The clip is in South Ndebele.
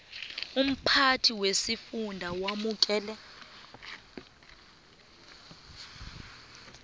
umphathi wesifunda wamukela